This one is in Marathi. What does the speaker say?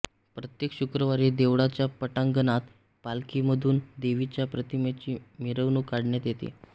प्रत्येक शुक्रवारी देवळाच्या पटांगणात पालखीमधून देवीच्या प्रतिमेची मिरवणूक काढण्यात येते